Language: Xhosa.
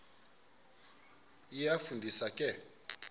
iyafu ndisa ke